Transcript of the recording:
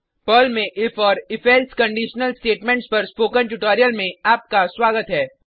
Perl में if और if else conditional statements पर स्पोकन ट्यूटोरियल में आपका स्वागत है